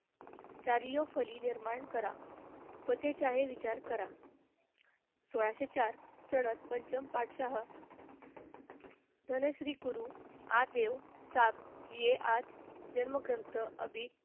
चारी व फळी निर्माण करा, होतेचा हि विचार करा. सोळाशे चार सण पंचम पातशाह धनश्री कुरु आदेव चा जे आद जन्मग्रंथ अबीर,